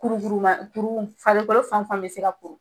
kurukuruma Farikolo fan fan bɛ se ka kuru.